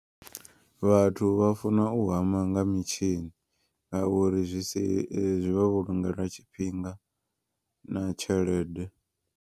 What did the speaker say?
Vhathu vha funa u hama nga mitshini. Ngauri zwi si vha vhulungela tshifhinga na tshelede.